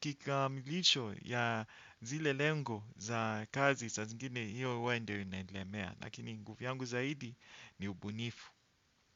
kikamilisho ya zile lengo za kazi sa zingine hiyo ndio inaenilemea. Lakini nguvu yangu zaidi ni ubunifu.